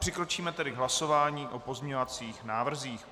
Přikročíme tedy k hlasování o pozměňujících návrzích.